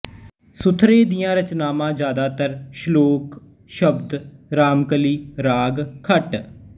ਸੁਥਰੇ ਦੀਆਂ ਰਚਨਾਵਾਂ ਜਿਆਦਾਤਰ ਸਲੋਕ ਸ਼ਬਦ ਰਾਮਕਲੀ ਰਾਗ ਖਟ